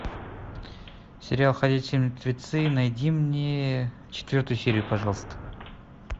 сериал ходячие мертвецы найди мне четвертую серию пожалуйста